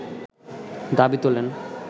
দাবি তোলেন